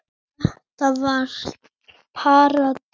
Það var svona deyfð yfir leiknum.